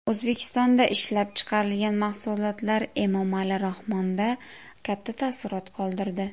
O‘zbekistonda ishlab chiqarilgan mahsulotlar Emomali Rahmonda katta taassurot qoldirdi.